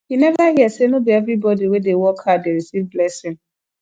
you neva hear sey no be everybodi wey dey work hard dey receive blessing